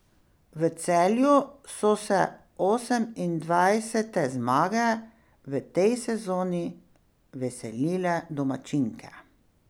V Celju so se osemindvajsete zmage v tej sezoni veselile domačinke.